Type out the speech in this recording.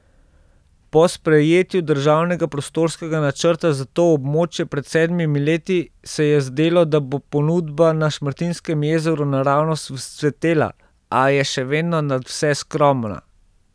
Po sprejetju državnega prostorskega načrta za to območje pred sedmimi leti se je zdelo, da bo ponudba na Šmartinskem jezeru naravnost vzcvetela, a je še vedno nadvse skromna.